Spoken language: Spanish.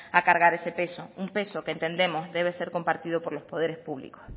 a cargar ese peso un peso que entendemos debe ser compartido por los poderes públicos